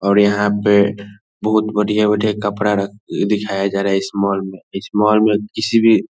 और यहाँ पे बहुत बढ़िया-बढ़िया कपड़ा दिखाया जा रहा है इस मोल में इस मोल में किसी भी --